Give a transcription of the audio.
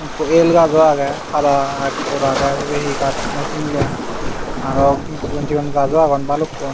ikko yel gajo agey pada ekkur agey sibey hi gaaj naw sinulung aro sigon sigon gajo agon balukkun.